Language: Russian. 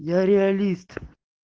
я реалист